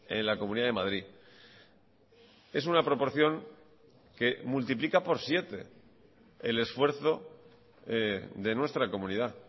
en la comunidad de madrid es una proporción que multiplica por siete el esfuerzo de nuestra comunidad